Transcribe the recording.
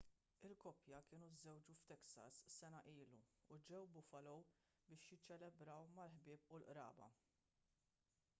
il-koppja kienu żżewġu f'texas sena ilu u ġew buffalo biex jiċċelebraw mal-ħbieb u l-qraba